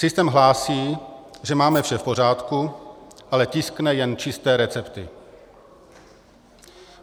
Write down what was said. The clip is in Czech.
Systém hlásí, že máme vše v pořádku, ale tiskne jen čisté recepty.